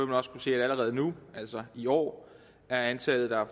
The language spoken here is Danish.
man også kunne se at allerede nu altså i år er antallet der har